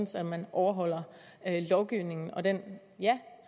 så man overholder lovgivningen og den ja